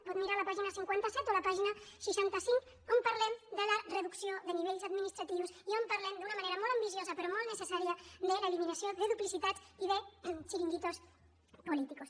pot mirar la pàgina cinquanta set o la pàgina seixanta cinc on parlem de la reducció de nivells administratius i on parlem d’una manera molt ambiciosa però molt necessària de l’eliminació de duplicitats i de chiringuitos políticos